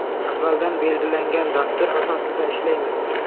Avvaldan belgilangan dastur asosida ishlaymiz.